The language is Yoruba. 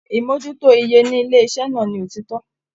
Imojuto ìyè nílé iṣẹ náà ní òtítọ.